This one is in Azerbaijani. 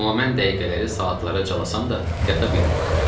Amma mən dəqiqələri saatlara calasam da, yata bilmirdim.